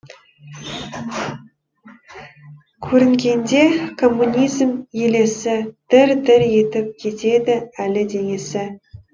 көрінгенде коммунизм елесі дір дір етіп кетеді әлі денесі